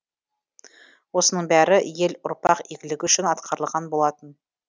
осының бәрі ел ұрпақ игілігі үшін атқарылған болатын